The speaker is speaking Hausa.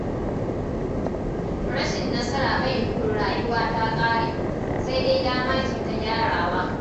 Rashin nasara bai nufin rayuwa ta ƙare, sai dai dama ce ta gyarawa.